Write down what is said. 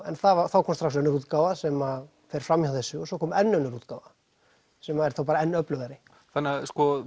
en þá kom strax önnur útgáfa sem að fer fram hjá þessu og svo kom enn önnur útgáfa sem er þá bara enn öflugari þannig að